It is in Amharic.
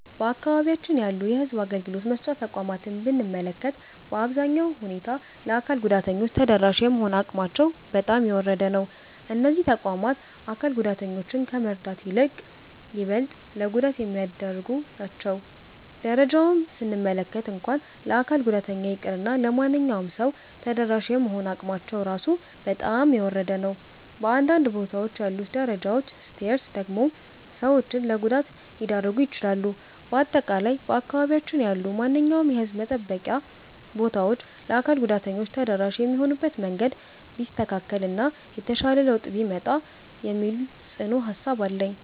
በአካባቢያችን ያሉ የሕዝብ አገልግሎት መስጫ ተቋማትን ብንመለከት፣ በአሳዛኝ ሁኔታ ለአካል ጉዳተኞች ተደራሽ የመሆን አቅማቸው በጣም የወረደ ነው። እነዚህ ተቋማት አካል ጉዳተኞችን ከመርዳት ይልቅ ይበልጥ ለጉዳት የሚዳርጉ ናቸው። ደረጃቸውን ስንመለከት እንኳን ለአካል ጉዳተኛ ይቅርና ለማንኛውም ሰው ተደራሽ የመሆን አቅማቸው ራሱ በጣም የወረደ ነው። በአንዳንድ ቦታዎች ያሉት ደረጃዎች (Stairs) ደግሞ ሰዎችን ለጉዳት ሊዳርጉ ይችላሉ። በአጠቃላይ በአካባቢያችን ያሉ ማንኛውም የሕዝብ መጠበቂያ ቦታዎች ለአካል ጉዳተኞች ተደራሽ የሚሆኑበት መንገድ ቢስተካከል እና የተሻለ ለውጥ ቢመጣ የሚል ጽኑ ሃሳብ አለኝ።